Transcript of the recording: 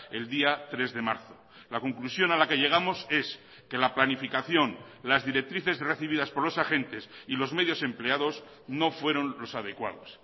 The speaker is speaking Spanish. el día tres de marzo la conclusión a la que llegamos es que la planificación las directrices recibidas por los agentes y los medios empleados no fueron los adecuados